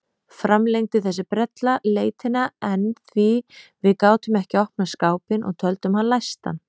Framlengdi þessi brella leitina enn því við gátum ekki opnað skápinn og töldum hann læstan.